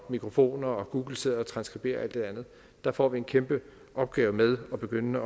og mikrofoner og google sidder og transskriberer alt det andet der får vi en kæmpe opgave med at begynde